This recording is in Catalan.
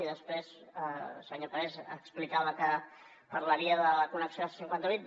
i després el senyor parés explicava que parlaria de la connexió de la c cinquanta vuit